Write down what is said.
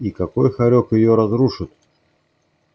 никакой хорёк её разрушит